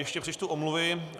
Ještě přečtu omluvy.